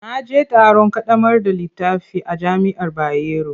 Na je taron ƙaddamar da littafi a jami'ar Bayero.